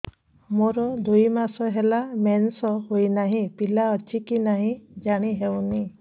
ମୋର ଦୁଇ ମାସ ହେଲା ମେନ୍ସେସ ହୋଇ ନାହିଁ ପିଲା ଅଛି କି ନାହିଁ ଜାଣି ହେଉନି